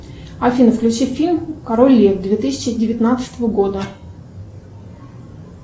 афина включи фильм король лев две тысячи девятнадцатого года